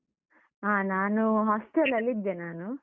ಹ ನಾನು hostel ಲಲ್ಲಿ ಇದ್ದೆ ನಾನು.